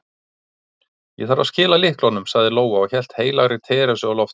Ég þarf að skila lyklunum, sagði Lóa og hélt heilagri Teresu á lofti.